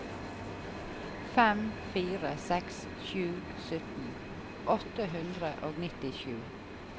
fem fire seks sju sytten åtte hundre og nittisju